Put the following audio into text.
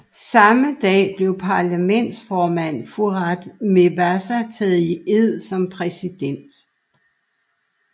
Samme dag blev parlamentsformanden Fouad Mebazaa taget i ed som præsident